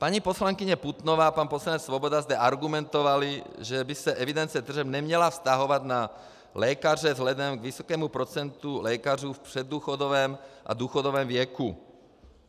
Paní poslankyně Putnová a pan poslanec Svoboda zde argumentovali, že by se evidence tržeb neměla vztahovat na lékaře vzhledem k vysokému procentu lékařů v předdůchodovém a důchodovém věku.